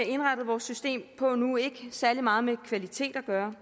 indrettet vores system på nu ikke særlig meget med kvalitet at gøre